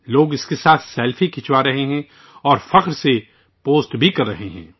لوگ ان کے ساتھ سیلفی لے رہے ہیں اور فخر سے پوسٹ بھی کر رہے ہیں